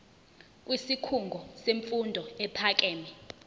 kwisikhungo semfundo ephakeme